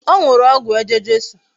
O nuru ogwu eje-jesu